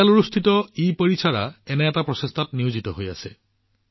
বাংগালুৰুৰ ইপৰিসৰ এনে এটা প্ৰচেষ্টাত নিয়োজিত হৈ আছে